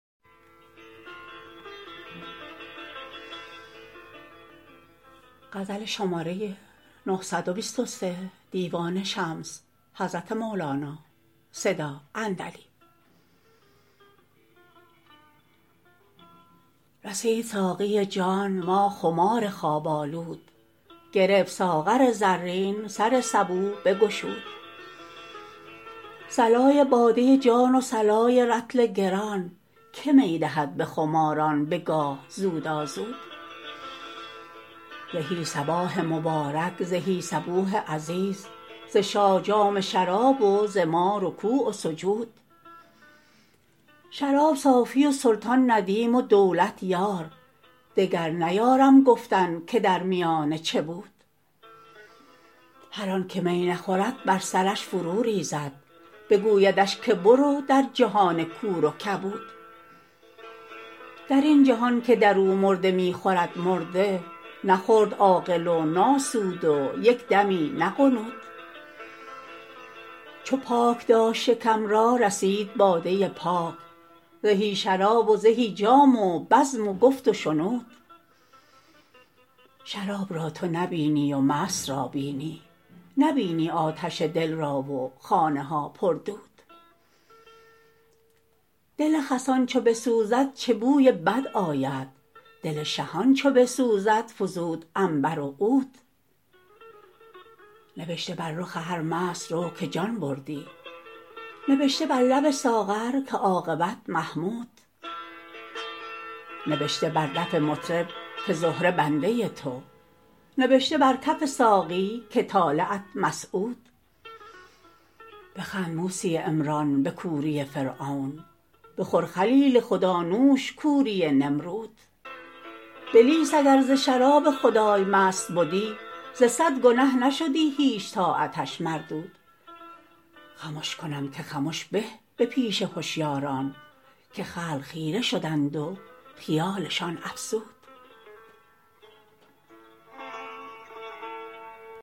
رسید ساقی جان ما خمار خواب آلود گرفت ساغر زرین سر سبو بگشود صلای باده جان و صلای رطل گران که می دهد به خماران به گاه زودازود زهی صباح مبارک زهی صبوح عزیز ز شاه جام شراب و ز ما رکوع و سجود شراب صافی و سلطان ندیم و دولت یار دگر نیارم گفتن که در میانه چه بود هر آنک می نخورد بر سرش فروریزد بگویدش که برو در جهان کور و کبود در این جهان که در او مرده می خورد مرده نخورد عاقل و ناسود و یک دمی نغنود چو پاک داشت شکم را رسید باده پاک زهی شراب و زهی جام و بزم و گفت و شنود شراب را تو نبینی و مست را بینی نبینی آتش دل را و خانه ها پر دود دل خسان چو بسوزد چه بوی بد آید دل شهان چو بسوزد فزود عنبر و عود نبشته بر رخ هر مست رو که جان بردی نبشته بر لب ساغر که عاقبت محمود نبشته بر دف مطرب که زهره بنده تو نبشته بر کف ساقی که طالعت مسعود بخند موسی عمران به کوری فرعون بخور خلیل خدا نوش کوری نمرود بلیس اگر ز شراب خدای مست بدی ز صد گنه نشدی هیچ طاعتش مردود خمش کنم که خمش به به پیش هشیاران که خلق خیره شدند و خیالشان افزود